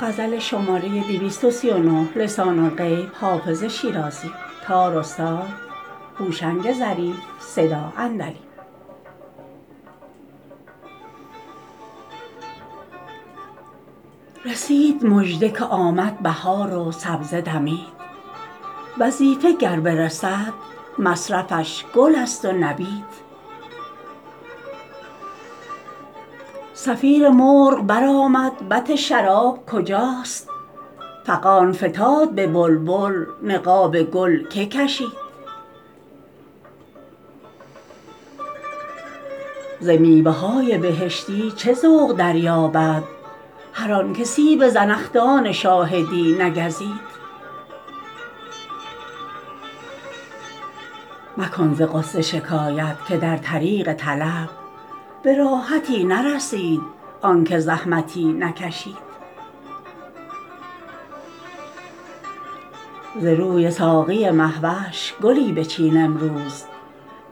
رسید مژده که آمد بهار و سبزه دمید وظیفه گر برسد مصرفش گل است و نبید صفیر مرغ برآمد بط شراب کجاست فغان فتاد به بلبل نقاب گل که کشید ز میوه های بهشتی چه ذوق دریابد هر آن که سیب زنخدان شاهدی نگزید مکن ز غصه شکایت که در طریق طلب به راحتی نرسید آن که زحمتی نکشید ز روی ساقی مه وش گلی بچین امروز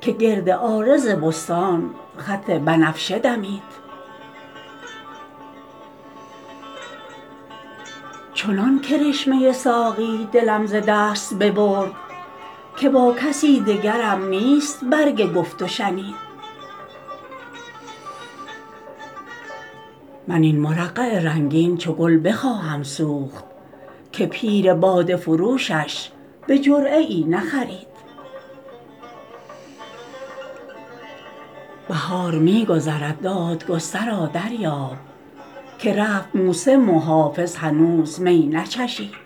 که گرد عارض بستان خط بنفشه دمید چنان کرشمه ساقی دلم ز دست ببرد که با کسی دگرم نیست برگ گفت و شنید من این مرقع رنگین چو گل بخواهم سوخت که پیر باده فروشش به جرعه ای نخرید بهار می گذرد دادگسترا دریاب که رفت موسم و حافظ هنوز می نچشید